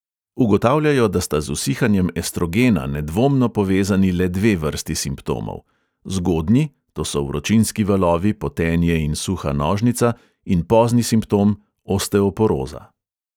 Ugotavljajo, da sta z usihanjem estrogena nedvomno povezani le dve vrsti simptomov – zgodnji, to so vročinski valovi, potenje in suha nožnica, in pozni simptom – osteoporoza.